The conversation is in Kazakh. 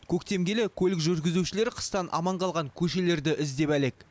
көктем келе көлік жүргізушілері қыстан аман қалған көшелерді іздеп әлек